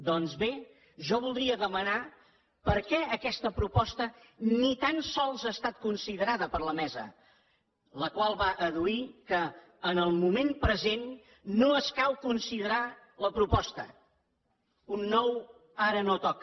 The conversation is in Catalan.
doncs bé jo voldria demanar per què aquesta proposta ni tan sols ha estat considerada per la mesa la qual va adduir que en el moment present no escau considerar la proposta un nou ara no toca